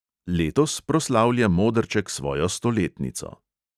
Letos proslavlja modrček svojo stoletnico.